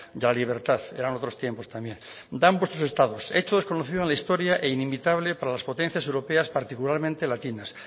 de la libertad eran otros tiempos también dan vuestros estados hecho desconocido en la historia e inimitable para las potencias europeas particularmente latinas